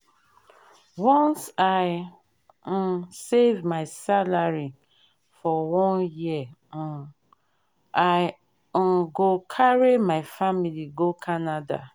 once i um save my salary for one year um i um go carry my family go canada.